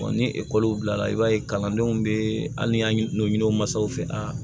ni ekɔli bilala i b'a ye kalandenw bɛ hali ni an ɲini mansaw fɛ a